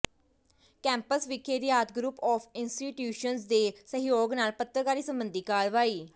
campus ਵਿਖੇ Rayat group of institutions ਦੇ ਸਹਿਯੋਗ ਨਾਲ ਪੱਤਰਕਾਰੀ ਸਬੰਧੀ ਕਰਵਾਈ